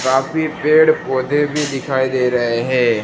काफी पेड़ पौधे भी दिखाई दे रहे हैं।